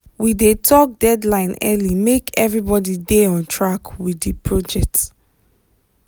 we dey talk deadline early make everybody dey on track with the project.